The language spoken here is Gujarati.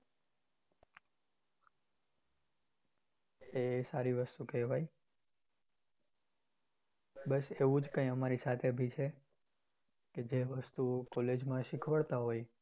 એ સારી વસ્તુ કહેવાય, બસ એવુજ કઈક અમારી સાથે ભી છે કે જે વસ્તુ college માં શીખવાડતા હોય એ